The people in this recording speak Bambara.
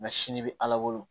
Nka sini bɛ ala bolo